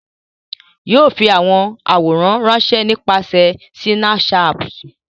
O yóò fi awọn aworan ranṣẹ nipasẹ Sinapuṣati.